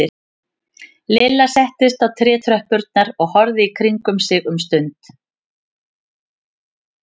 Lilla settist á trétröppurnar og horfði í kringum sig um stund.